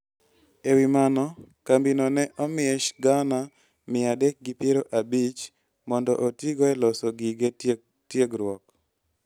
E wi mano, kambino ne omiye Sh gana mia adek gi piero abich mondo otigo e loso gige tiegruok.